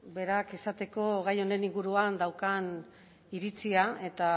berak esateko gai honen inguruan daukan iritzia eta